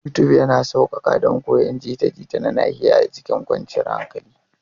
YouTube yana sauƙaƙa don koyon jita-jita na nahiya a cikin kwanciyar hankali.